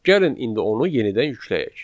Gəlin indi onu yenidən yükləyək.